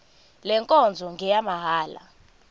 le nkonzo ngeyamahala